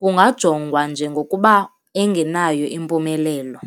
kungajongwa njengokuba engenayo impumelelo.